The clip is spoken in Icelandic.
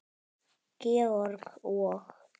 Georg og